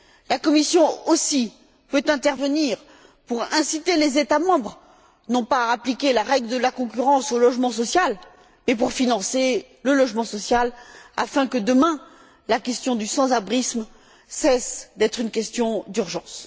La Commission peut aussi intervenir pour inciter les États membres non pas à appliquer la règle de la concurrence au logement social, mais pour financer le logement social afin que, demain, la question du sans abrisme cesse d'être une question d'urgence.